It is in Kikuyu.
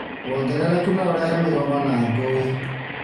Wongerereku no ũrehe mĩgomo na ngũi